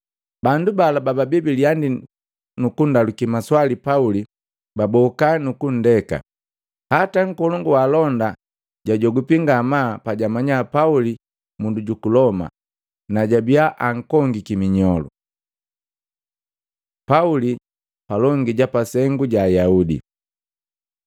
Bandu bala bababii bilihandii kundapula nukundaluki maswali Pauli, batenda kuhoba. Hata nkolongu wa alonda jajogwipi ngamaa pajamanya Pauli mundu juku Loma na jabia ankongiki minyolu. Pauli palongi ja sengu ja Ayaudi